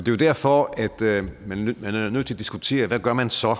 jo derfor at man er nødt til at diskutere hvad man så